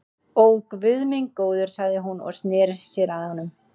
Ó, guð minn góður sagði hún og sneri sér að honum.